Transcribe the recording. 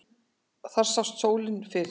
Þar sást sólin fyrr.